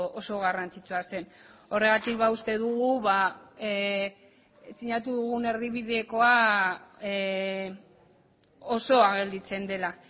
oso garrantzitsua zen horregatik uste dugu sinatu dugun erdibidekoa osoa gelditzen dela